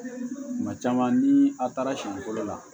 Kuma caman ni a taara siɲɛ fɔlɔ la